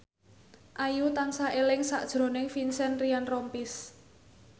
Ayu tansah eling sakjroning Vincent Ryan Rompies